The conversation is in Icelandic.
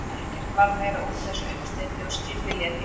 Ekki varð meira úr þessum uppsteyti og skipið lét í haf.